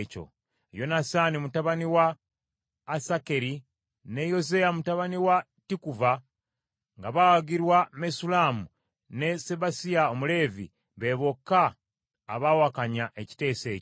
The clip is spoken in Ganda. Yonasaani mutabani wa Asakeri ne Yozeya mutabani wa Tikuva, nga bawagirwa Mesullamu ne Sabbesayi Omuleevi be bokka abawakanya ekiteeso ekyo.